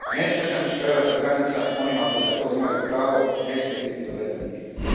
Nesmetan prelazak granica onima koji na to imaju pravo ne smije biti doveden u pitanje.